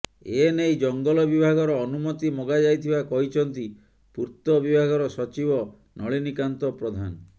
ଏ ନେଇ ଜଙ୍ଗଲ ବିଭାଗର ଅନୁମତି ମଗାଯାଇଥିବା କହିଛନ୍ତି ପୂର୍ତ ବିଭାଗର ସଚିବ ନଳିନୀକାନ୍ତ ପ୍ରଧାନ